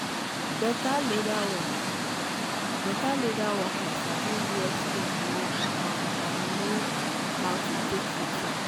um better leather work better leather worker sabi where skin no fine and know how to take fix am.